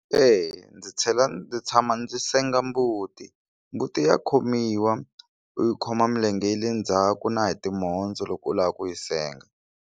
Eya, ndzi tlhela ndzi tshama ndzi senga mbuti mbuti ya khomiwa u yi khoma milenge ya le ndzhaku na hi timhondzo loko u lava ku yi senga.